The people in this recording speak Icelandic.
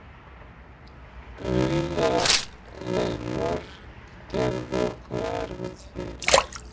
Aulaleg mörk gerðu okkur erfitt fyrir